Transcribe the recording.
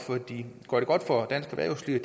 går det godt for dansk erhvervsliv